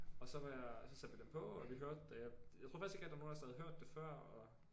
Og så var jeg og så satte vi den på og vi hørte og jeg jeg tror faktisk ikke rigtig der var nogen af os der havde hørt det før